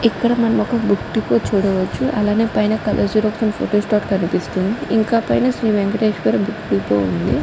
ఇక్కడ మనం ఒక్క బుక్ డిపో చూడవచ్చు. అలానే పైన కలర్ జెరాక్స్ అండ్ ఫొటోస్టాట్ కనిపిస్తుంది. ఇంకా పైన శ్రీ వెంకటేశ్వర బుక్ డిపో కనిపిస్తూ ఉంది.